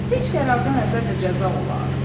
Heç qərardan əvvəl də cəza olar?